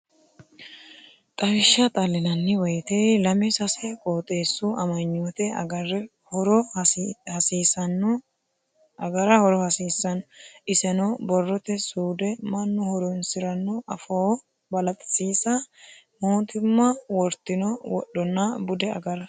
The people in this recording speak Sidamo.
Xawishsha xalinanni woyte lame sase qooxxeesu amanyote agara horo hasiisano iseno borrote suude, mannu horonsirano afoo balaxisiisa mootimma wortino wodhonna bude agara.